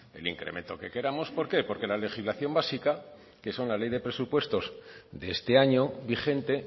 el incremento que queramos por qué porque la legislación básica que son la ley de presupuestos de este año vigente